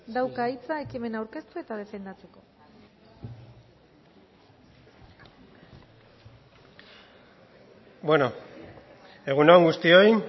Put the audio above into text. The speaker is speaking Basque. daukat hitza ekimena aurkeztu eta defendatzeko egun on guztioi